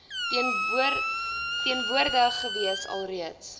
teenwoordig gewees alreeds